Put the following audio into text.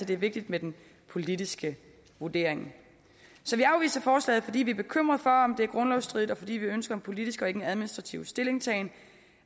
det er vigtigt med den politiske vurdering så vi afviser forslaget fordi vi er bekymrede for om det er grundlovsstridigt og fordi vi ønsker en politisk og ikke en administrativ stillingtagen